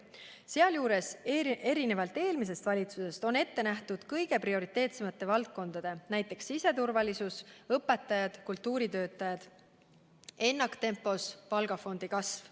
Sealjuures on erinevalt eelmisest valitsusest ette nähtud kõige prioriteetsemate valdkondade, näiteks siseturvalisuse töötajate ning õpetajate ja kultuuritöötajate palgafondi ennaktempos kasv.